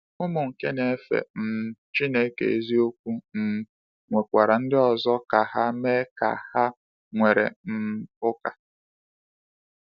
Ụmụ nke na-efe um Chineke eziokwu um nwekwara ndị ọzọ ka ha mee ka ha were um ụka.